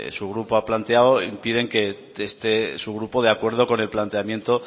su grupo ha planteado impiden que esté su grupo de acuerdo con el planteamiento